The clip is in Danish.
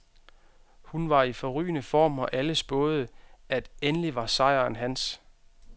Han var i forrygende form, og alle spåede, at endelig var sejren hans.